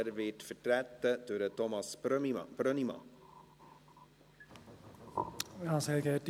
Er wird durch Thomas Brönnimann vertreten.